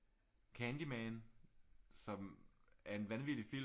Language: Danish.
Candyman som er en vanvittig film